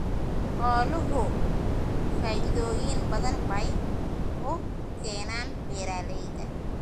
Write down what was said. Xooluhu faa'iidooyin badan bay u keenaan beeralayda.